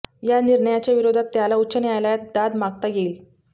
या निर्णयाच्या विरोधात त्याला उच्च न्यायालयात दाद मागता येईल